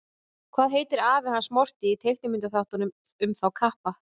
Hvað heitir afi hans Morty í teiknimyndaþáttunum um þá kappa?